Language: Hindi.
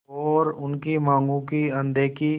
और उनकी मांगों की अनदेखी